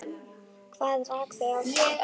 Hvað rak þau áfram?